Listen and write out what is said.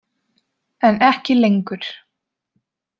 En ekki lengur.